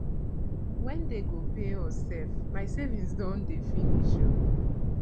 wen dey go pay us sef my savings don dey finish oo